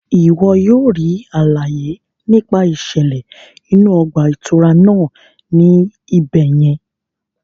Iwọ yóò ríi àlàyé nípa iṣẹlẹ inú ọgbà itúrá náà ní ibẹ yẹn